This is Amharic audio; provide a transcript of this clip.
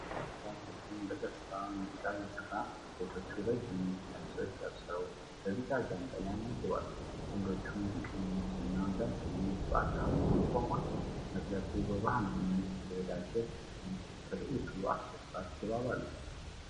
የባህላዊ ዳንስ ቡድን በደስታ ሙዚቃ እየሰራ ነው። ሴቶቹ ረጅም ነጭ ቀሚሶች ለብሰው፣ በቢጫ ጃንጥላዎች ያጅባሉ። ወንዶች ሙዚቀኞችና ዳንሰኞች በአካባቢው ቆመዋል። መድረኩ በባህላዊ መልክ የተዘጋጀ ሲሆን፣ ትርኢቱ አስደሳች ድባብ አለው።